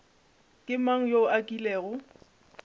ke mang yo a kilego